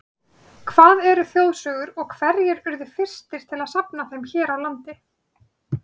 Hvað eru þjóðsögur og hverjir urðu fyrstir til að safna þeim hér á landi?